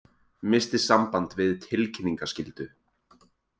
Missti samband við tilkynningaskyldu